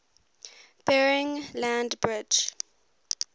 bering land bridge